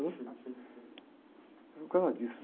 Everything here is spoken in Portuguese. Foi por causa disso